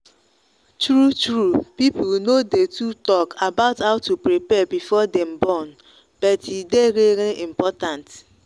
true true people no day too talk about how to prepare before them born. but e day really important.